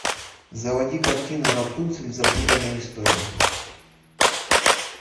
заводи картину рапунцель запутанная история